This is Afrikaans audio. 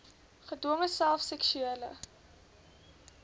gedwonge self seksuele